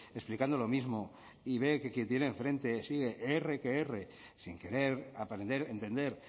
explicando lo mismo y ve que quien tiene en frente sigue erre que erre sin querer aprender entender